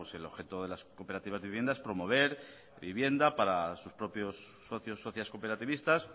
el objeto de las cooperativas de vivienda es promover la vivienda para sus propios socios socias cooperativistas